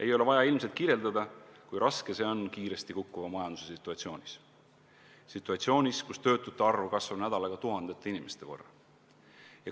Ei ole vaja ilmselt kirjeldada, kui raske see on kiiresti kukkuva majanduse situatsioonis, kus töötute arv kasvab nädalaga tuhandete inimeste võrra.